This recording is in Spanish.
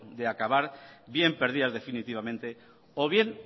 de acabar bien perdidas definitivamente o bien